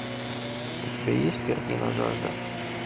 у тебя есть картина жажда